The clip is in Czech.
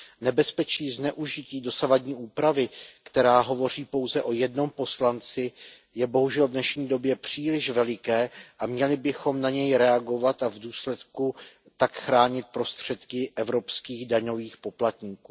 Nebezpečí zneužití dosavadní úpravy, která hovoří pouze o jednom poslanci, je bohužel v dnešní době příliš veliké a měli bychom na něj reagovat a v důsledku tak chránit prostředky evropských daňových poplatníků.